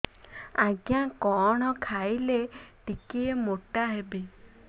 ଆଜ୍ଞା କଣ୍ ଖାଇଲେ ଟିକିଏ ମୋଟା ହେବି